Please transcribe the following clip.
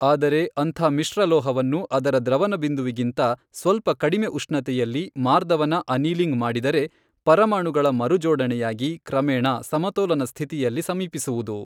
ಆದರೆ ಅಂಥ ಮಿಶ್ರಲೋಹವನ್ನು ಅದರ ದ್ರವನ ಬಿಂದುವಿಗಿಂತ ಸ್ವಲ್ಪ ಕಡಿಮೆ ಉಷ್ೞತೆಯಲ್ಲಿ ಮಾರ್ದವನ ಅನೀಲಿಂಗ್ ಮಾಡಿದರೆ ಪರಮಾಣುಗಳ ಮರುಜೋಡಣೆಯಾಗಿ ಕ್ರಮೇಣ ಸಮತೋಲನ ಸ್ಥಿತಿಯಲ್ಲಿ ಸಮೀಪಿಸುವುದು.